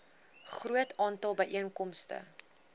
groot aantal byeenkomste